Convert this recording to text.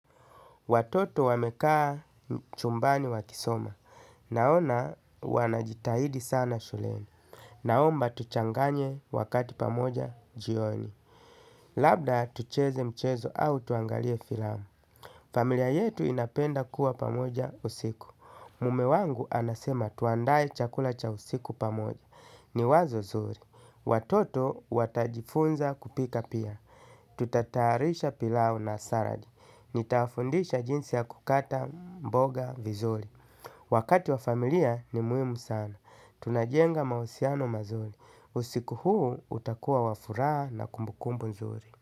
Watoto wamekaa chumbani wakisoma. Naona wanajitahidi sana shuleni. Naomba tuchanganye wakati pamoja jioni. Labda tucheze mchezo au tuangalie filamu. Familia yetu inapenda kuwa pamoja usiku. Mume wangu anasema tuandae chakula cha usiku pamoja. Ni wazo zuri. Watoto watajifunza kupika pia. Tutatayarisha pilau na saladi. Nitafundisha jinsi ya kukata mboga vizuri. Wakati wa familia ni muhimu sana. Tunajenga mahusiano mazuri. Usiku huu utakuwa wa furaha na kumbukumbu nzuri.